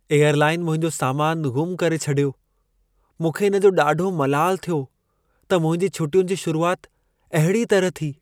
Airline मुंहिंजो सामानु ग़ुम करे छॾियो। मूंखे इन जो ॾाढो मलालु थियो, त मुंहिंजी छुटियुनि जी शुरुआत अहिड़ीअ तरह थी।